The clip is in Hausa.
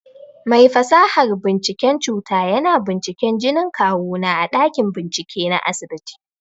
Mai fasahar binciken cuta yana binciken jinin kawu na a ɗakin bincike na asibiti.